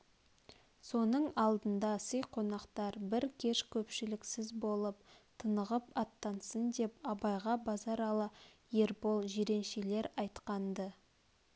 соның алдында сый қонақтар бір кеш көпшіліксіз болып тынығып аттансын деп абайға базаралы ербол жиреншелер айтқан-ды